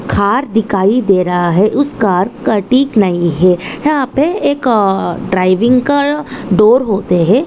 Car दिखाई दे रहा है उस कार का नहि है यहाँ पे एक ड्राविंग का डोर होते हे।